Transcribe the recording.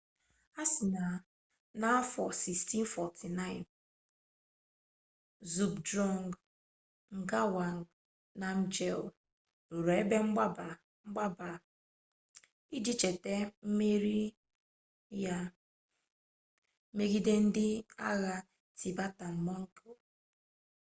a sị na n'afọ 1649 zhabdrung ngawang namgyel rụrụ ebe mgbaba a iji cheta mmeri ya megide ndị agha tibetan-mongol